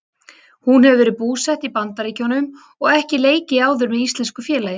Hún hefur verið búsett í Bandaríkjunum og ekki leikið áður með íslensku félagi.